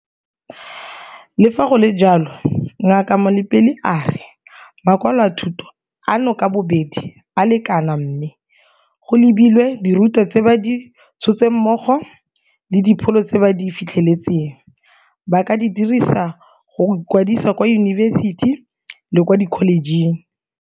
Le fa go le jalo, Ngaka Malapile a re makwalo a thuto ano ka bobedi a lekana mme, go lebilwe dirutwa tse ba di tshotseng mmogo le dipholo tse ba di fitlheletseng, ba ka di dirisa go ikwadisa kwa diyunibesiti le kwa dikholejeng.